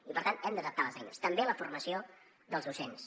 i per tant hem d’adaptar les eines també la formació dels docents